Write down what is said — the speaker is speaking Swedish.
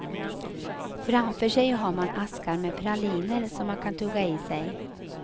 Framför sig har man askar med praliner som man kan tugga i sig.